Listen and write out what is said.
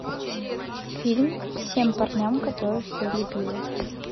фильм всем парням которых я любила